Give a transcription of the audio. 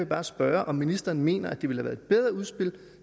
bare spørge om ministeren mener at det ville have været et bedre udspil